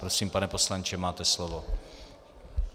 Prosím, pane poslanče, máte slovo.